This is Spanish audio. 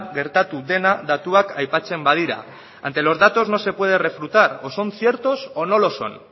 gertatu dena datuak aipatzen badira ante los datos no se puede refutar o son ciertos o no lo son